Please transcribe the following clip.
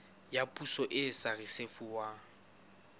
ya poso e sa risefuwang